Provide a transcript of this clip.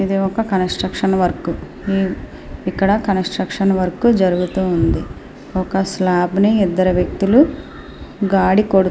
ఇది ఒక construction work . ఇక్కడ కన్స్స్ట్రక్షన్ వర్క్ జరుగుతూ ఉంది. ఒక స్లాబ్ ని ఇద్దరు వ్యక్తులు గాడి కొడుతూ--